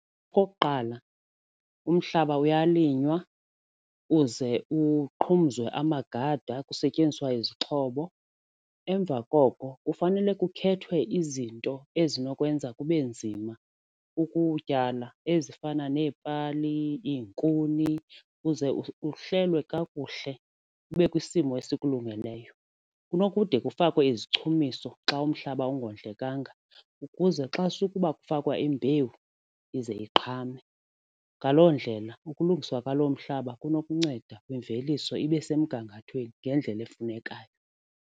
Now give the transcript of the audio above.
Okokuqala, umhlaba uyalinywa uze uqhumizwe amagada kusetyenziswa izixhobo emva koko kufanele kukhethwe izinto ezinokwenza kube nzima ukutyala ezifana neepali, iinkuni ukuze kuhlelwe kakuhle kube kwisimo esikulungeleyo. Kunokuthi kufakwe izichumiso xa umhlaba ungondlekanga ukuze xa sukuba kufakwa imbewu ize iqhame. Ngaloo ndlela ukulungiswa kwalo mhlaba kunokunceda imveliso ibe semgangathweni ngendlela efunekayo.